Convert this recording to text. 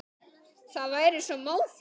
Það væri svo móðins.